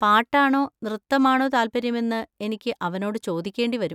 പാട്ടാണോ നൃത്തമാണോ താത്പര്യമെന്ന് എനിക്ക് അവനോട് ചോദിക്കേണ്ടി വരും.